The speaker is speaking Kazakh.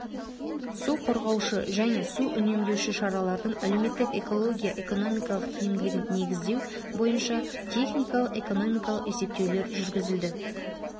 су қорғаушы және су үнемдеуші шаралардың әлеуметтік экология экономикалық тиімділігін негіздеу бойынша техникалық-экономикалық есептеулер жүргізілді